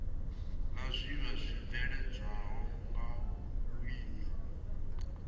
la zwiiwa zwibveledzwaho nga vhulimi